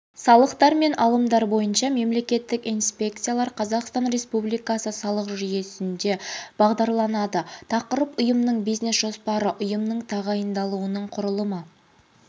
салықтар және алымдар бойынша мемлекеттік инспекциялар қазақстан республикасы салық жүйесінде бағдарланады тақырып ұйымның бизнес-жоспары ұйымның тағайындалуының құрылымы